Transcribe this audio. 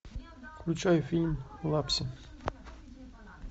включай фильм лапси